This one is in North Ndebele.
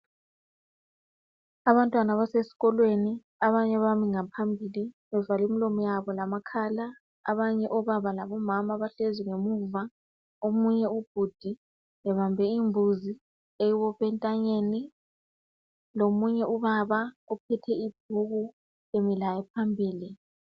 Abantwana abasesikolweni abanye bami ngaphambili bavale umlomo lamakhala abanye obaba labo mama bahlezi ngamuva omunye ubhudi ebambe imbuzi wyibophe entanyeni lomunye ubaba ophethe ibhuku emilaye phambili